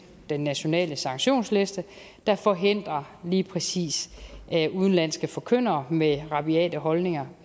den nationale sanktionsliste der forhindrer lige præcis udenlandske forkyndere med rabiate holdninger